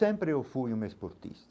Sempre eu fui um esportista.